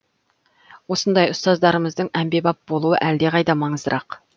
осындай ұстаздарымыздың әмбебап болуы әлдеқайда маңыздырақ